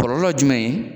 Kɔlɔlɔ jumɛn ye